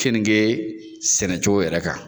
kenige sɛnɛcogo yɛrɛ kan